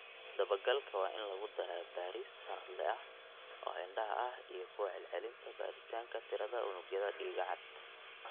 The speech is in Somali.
Dabagalka waa in lagu daraa baaris sanadle ah oo indhaha ah iyo ku celcelinta baaritaanka tirada unugyada dhiiga cad.